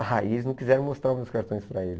Aí eles não quiseram mostrar os meus cartões para ele.